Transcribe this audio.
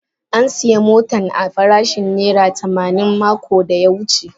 An siya motan a farashin naira tamanin makon da ya wuce.